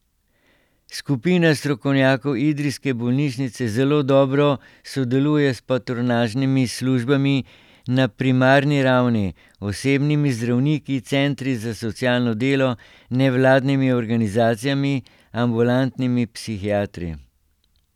Skupina strokovnjakov idrijske bolnišnice zelo dobro sodeluje s patronažnimi službami na primarni ravni, osebnimi zdravniki, centri za socialno delo, nevladnimi organizacijami, ambulantnimi psihiatri.